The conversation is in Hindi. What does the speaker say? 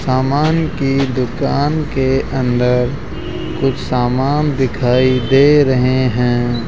सामान की दुकान के अंदर कुछ सामान दिखाई दे रहे हैं।